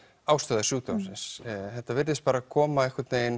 ástæðu sjúkdómsins þetta virðist koma